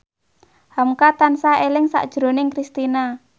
hamka tansah eling sakjroning Kristina